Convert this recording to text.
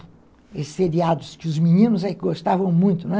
Esses seriados que os meninos aí gostavam muito, né?